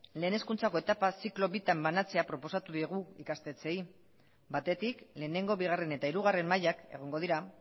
lehen hezkuntzako etapa ziklo bitan banatzea proposatu diegu ikastetxeei batetik lehenengo bigarren eta hirugarren mailak egongo dira